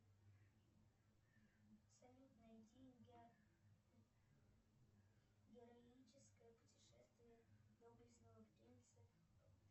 салют найди героическое путешествие доблестного принца